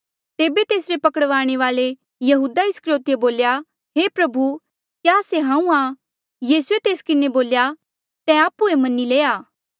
तेबे तेसरे पकड़वाणे वाल्ऐ यहूदा इस्करयोतिए बोल्या हे गुरु क्या से हांऊँ आं यीसूए तेस किन्हें बोल्या तैं आप्हुए मन्नी लया